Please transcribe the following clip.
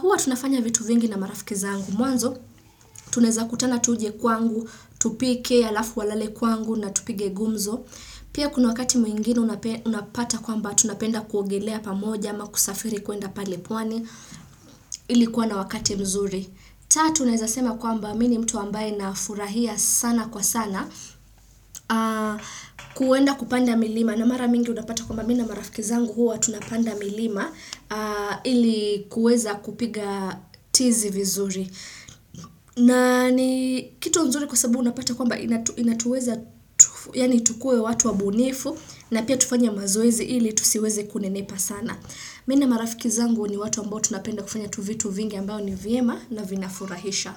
Hua tunafanya vitu vingi na marafiki zangu. Mwanzo, tunaweza kutana tuje kwangu, tupike halafu walale kwangu na tupige gumzo. Pia kuna wakati mwingine unapata kwamba tunapenda kuogelea pamoja ama kusafiri kuenda pale pwani. Ilikuwa na wakati mzuri. Tatu naweza sema kwamba mimi ni mtu ambaye nafurahia sana kwa sana kwenda kupanda milima. Na mara mingi unapata kwamba mimi na marafiki zangu huwa tunapanda milima ili kuweza kupiga tizi vizuri. Na ni kitu mzuri kwa sababu unapata kwamba inatuweza yaani tukuwe watu wabunifu na pia tufanya mazoezi ili tusiweze kunenepa sana. Mimi na marafiki zangu ni watu ambao tunapenda kufanya tuvitu vingi ambao ni vyema na vina furahisha.